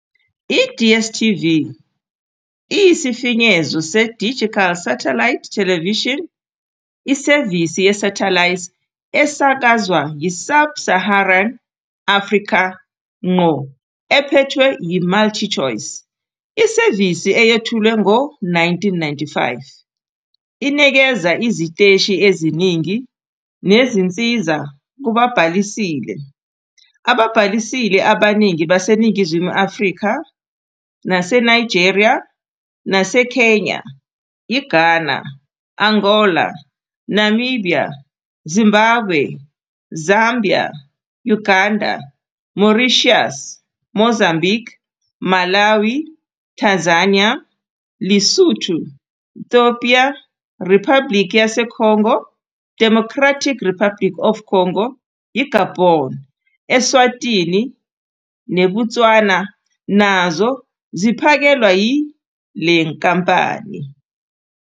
I-DStv, isifinyezo seDigital Satellite Television, isevisi ye- satellite esakazwa yi- Sub-Saharan Africa ngqo ephethwe yiMultiChoice. Isevisi eyethulwe ngo-1995 inikeza iziteshi eziningi nezinsiza kubabhalisile. Ababhalisile abaningi baseNingizimu Afrika naseNigeria, neKenya, iGhana, i- Angola, iNamibia, iZimbabwe, iZambia, i- Uganda, iMauritius, iMozambique, iMalawi, iTanzania, iLesotho, i- Ethiopia, iRiphabhlikhi yaseCongo, iDemocratic Republic of Congo, iGabon, I-Eswatini neBotswana nazo ziphakelwa yile nkampani.